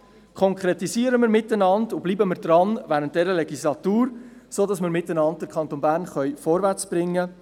Konkretisieren wir sie miteinander und bleiben wir während dieser Legislatur dran, sodass wir mit dem Engagement 2030 den Kanton Bern vorwärtsbringen.